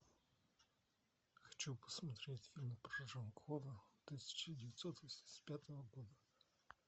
хочу посмотреть фильм про жан клода тысяча девятьсот восемьдесят пятого года